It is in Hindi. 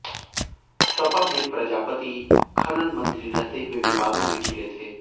सपा में प्रजापति खनन मंत्री रहते हुए विवादों में घिरे थे